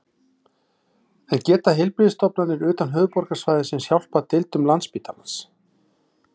En geta heilbrigðisstofnanir utan höfuðborgarsvæðisins hjálpað deildum Landspítalans?